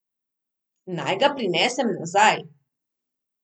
Naj ga prinesem nazaj?